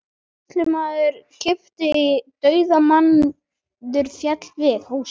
Sýslumaður kippti í og dauðamaðurinn féll við.